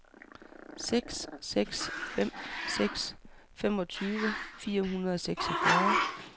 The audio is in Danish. seks seks fem seks femogtyve fire hundrede og seksogfyrre